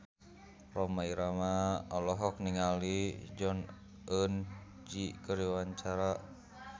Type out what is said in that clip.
Rhoma Irama olohok ningali Jong Eun Ji keur diwawancara